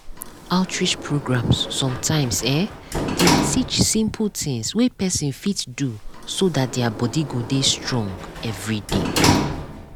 outreach programs sometimes[um]dey teach simple things wey person fit do so that their body go dey strong everyday.